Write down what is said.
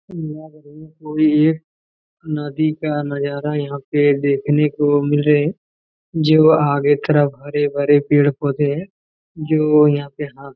यहाँ पे कोई है नदी का नजारा यहाँ पे देखने को मिल रहे हैं जो आगे तरफ हरे-भरे पेड़-पौधे है जो यहाँ पे आके--